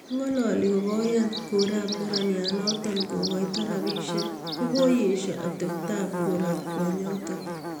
Ngoli kokoyan korap neranan notok kokoito rapisiek ko kokoesyoo ateptoop korop kwonyotok